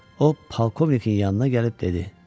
O polkovnikin yanına gəlib dedi: